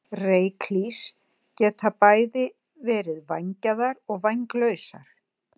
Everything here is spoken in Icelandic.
Ryklýs geta verið bæði vængjaðar og vænglausar.